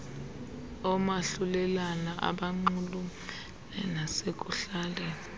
omahlulelane abanxulumene nasekuhlaleni